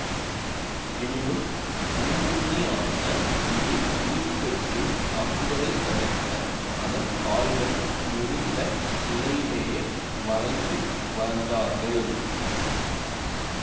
எனினும் ஊனுண்ணியான இது உயிர்பெற்றுத் தாக்குவதைத் தடுக்க அதன் கால்கள் முறிந்த நிலையிலேயே வரைந்து வந்தார்கள்